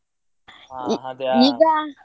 ಹಾ ಅದೇ.